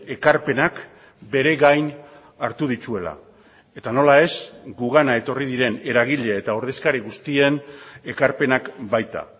ekarpenak beregain hartu dituela eta nola ez gugana etorri diren eragile eta ordezkari guztien ekarpenak baita